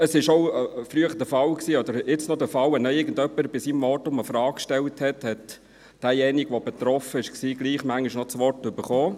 Früher war es der Fall, beziehungsweise noch jetzt, dass wenn irgendjemand im Rahmen seines Votums eine Frage stellte, der Betroffene manchmal gleichwohl noch das Wort erhielt.